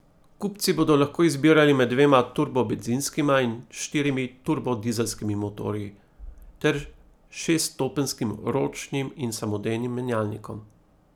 Kupci bodo lahko izbirali med dvema turbo bencinskima in štirimi turbo dizelskimi motorji, ter šeststopenjskim ročnim in samodejnim menjalnikom.